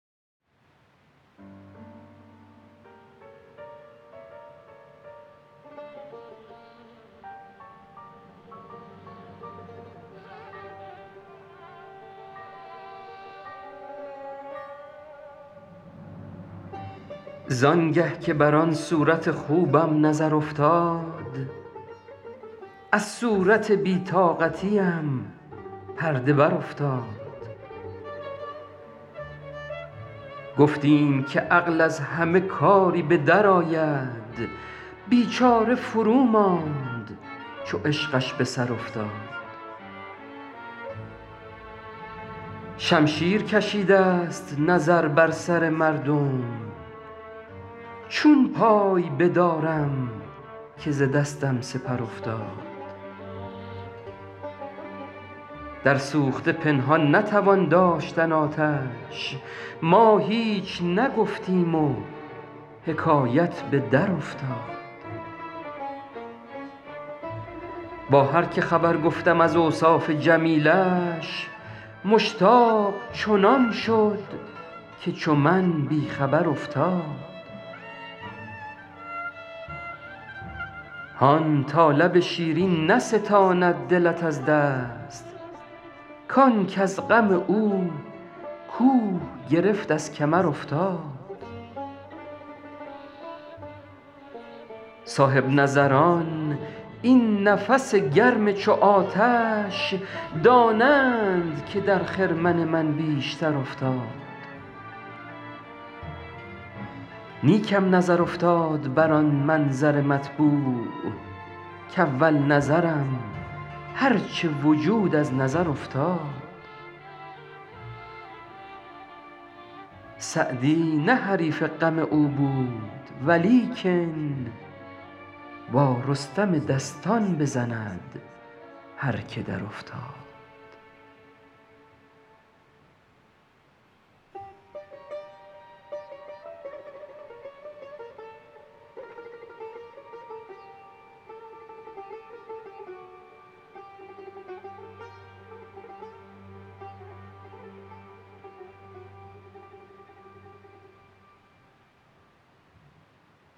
زان گه که بر آن صورت خوبم نظر افتاد از صورت بی طاقتیم پرده برافتاد گفتیم که عقل از همه کاری به درآید بیچاره فروماند چو عشقش به سر افتاد شمشیر کشیدست نظر بر سر مردم چون پای بدارم که ز دستم سپر افتاد در سوخته پنهان نتوان داشتن آتش ما هیچ نگفتیم و حکایت به درافتاد با هر که خبر گفتم از اوصاف جمیلش مشتاق چنان شد که چو من بی خبر افتاد هان تا لب شیرین نستاند دلت از دست کان کز غم او کوه گرفت از کمر افتاد صاحب نظران این نفس گرم چو آتش دانند که در خرمن من بیشتر افتاد نیکم نظر افتاد بر آن منظر مطبوع کاول نظرم هر چه وجود از نظر افتاد سعدی نه حریف غم او بود ولیکن با رستم دستان بزند هر که درافتاد